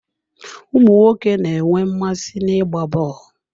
Ụmụ nwoke na-enwe mmasị n'ịgba bọọlụ.